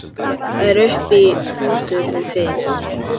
Það er uppi fótur og fit.